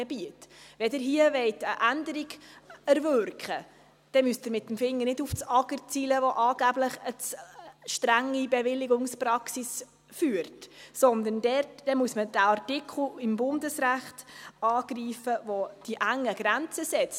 Wenn Sie hier eine Änderung erwirken wollen, dann müssen Sie mit dem Finger nicht auf das Amt für Gemeinden und Raumordnung (AGR) zeigen, das angeblich eine zu strenge Bewilligungspraxis führt, sondern dann muss man diesen Artikel im Bundesrecht angreifen, der die zu engen Grenzen setzt.